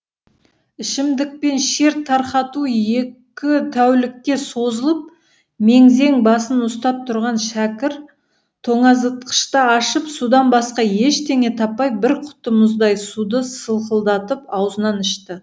ішімдікпен шер тарқату екі тәулікке созылып мең зең басын ұстап тұрған шәкір тоңазытқышты ашып судан басқа ештеңе таппай бір құты мұздай суды сылқылдатып аузынан ішті